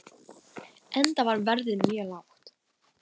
Enda var verðið mjög lágt.